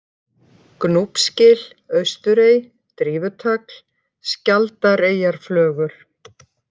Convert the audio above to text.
Gnúpsgil, Austurey, Drífutagl, Skjaldareyjarflögur